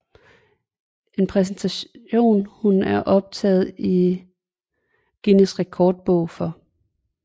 En præstation hun er optaget i Guinness Rekordbog for